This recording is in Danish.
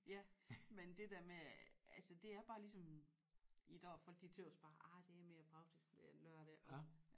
Ja men det der med altså det er bare ligesom i dag folk de tøs også bare ej det er mere praktisk det er en lørdag og